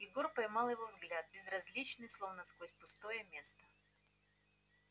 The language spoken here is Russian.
егор поймал его взгляд безразличный словно сквозь пустое место